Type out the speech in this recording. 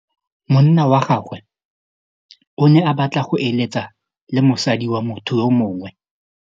Monna wa gagwe o ne a batla go êlêtsa le mosadi wa motho yo mongwe.